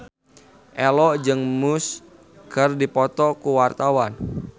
Ello jeung Muse keur dipoto ku wartawan